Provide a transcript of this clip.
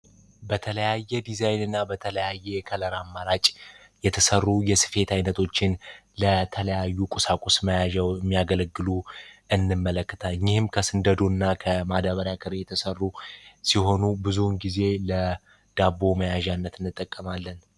በተለያየ ዲዛይን እና በተለያየ ከለራማራጭ የተሠሩ የስፌት ዓይነቶችን ለተለያዩ ቁሳቁስ መያዘው የሚያገለግሉ እንመለክታ እይህም ከስንደዱ እና ከማደበሪያ ክር የተሰሩ ሲሆኑ ብዙውን ጊዜ ለዳቦ መያዣነት እንጠቀማለን።